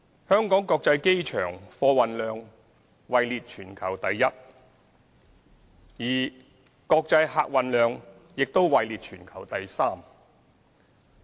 香港國際機場貨運量位列全球第一，而國際客運量亦位列全球第三。